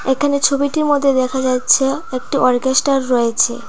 এখানে ছবিটির মদ্যে দেখা যাচ্ছে একটি অর্কেস্টার রয়েছে।